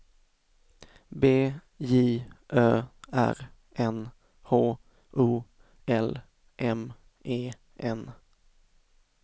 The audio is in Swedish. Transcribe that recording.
B J Ö R N H O L M E N